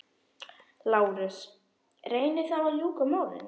LÁRUS: Reynið þá að ljúka málinu.